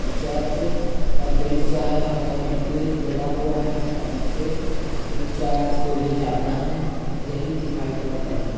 Church का दृश्य है और कैंडिल जला हुआ है पंखे तीन चार से भी ज्यादा है यही दिखाई पड़ रहा है।